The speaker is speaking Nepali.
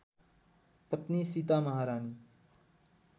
पत्नी सीता महारानी